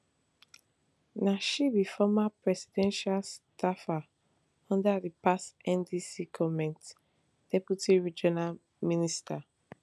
na she be former presidential staffer under di past ndc goment deputy regional minister